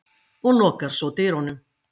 og lokar svo dyrunum.